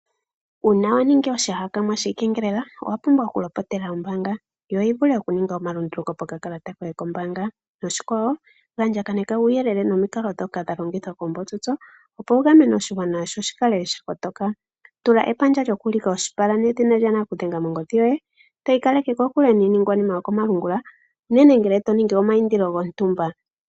Uuna wa ningi oshihakanwa shiikengelele owa pumbwa okulopotela ombaanga yo yi vule okuninga omalunduluko pokakalata koye kombaanga noshikwawo andjakaneka uuyelele nomikalo ndhoka dha longithwa koombotsotso, opo wu gamene oshigwana sho shi kale sha kotoka. Tula epandja lyokuulika oshipala nedhina lyanakudhenga mongodhi yoye, to ikaleke kokule niiningwanima yokomalungula unene ngele to ningi omayindilo gontumba.